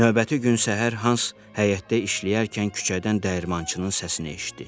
Növbəti gün səhər Hans həyətdə işləyərkən küçədən dəyirmançının səsini eşitdi.